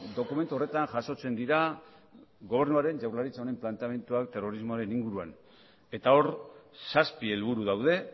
dokumentu horretan jasotzen dira gobernuaren jaurlaritza honen planteamenduak terrorismoaren inguruan eta hor zazpi helburu daude